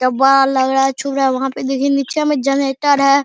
डब्बा लग रहा है चू रहा है वहां पे देखिए नीचे में जनरेटर है।